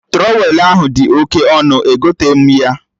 Trọwelụ ahụ dị oke ọnụ, egoteghi m ya